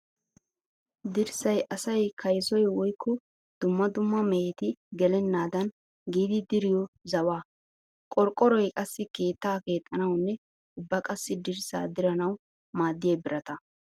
Dirssay asay kayssoy woykko dumma dumma mehetti gelenaddan giidi diriyo zawaa. Qorqqoroy qassi keetta keexanawunne ubba qassikka dirssa diranawu maadiyo birata.